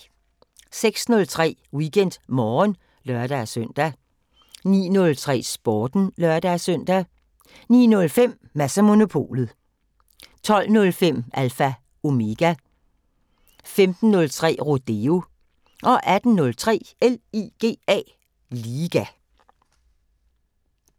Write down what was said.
06:03: WeekendMorgen (lør-søn) 09:03: Sporten (lør-søn) 09:05: Mads & Monopolet 12:05: Alpha Omega 15:03: Rodeo 18:03: LIGA